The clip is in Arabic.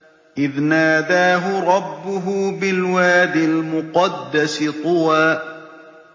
إِذْ نَادَاهُ رَبُّهُ بِالْوَادِ الْمُقَدَّسِ طُوًى